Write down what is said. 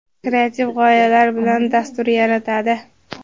kreativ g‘oyalar bilan dastur yaratadi.